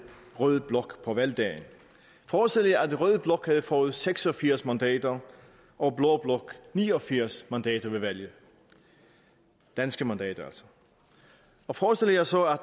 rød blok på valgdagen forestil jer at rød blok havde fået seks og firs mandater og blå blok ni og firs mandater ved valget danske mandater altså og forestil jer så at